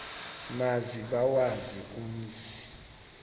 maze bawazi umzi